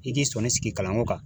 I k'i sɔni sigi kalan ko kan